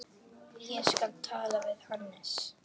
Ég skal tala við Hannes.